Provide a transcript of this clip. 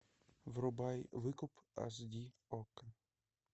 врубай выкуп аш ди окко